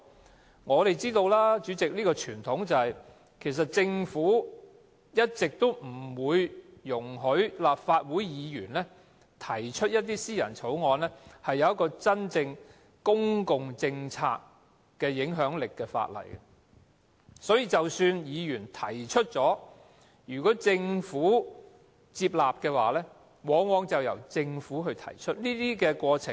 主席，我們也知道，傳統上，政府一直不會容許立法會議員提出一些真正對公共政策有影響力的私人法案；即使議員提出，如果政府接納，往往便由政府提出。